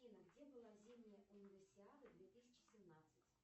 афина где была зимняя универсиада две тысячи семнадцать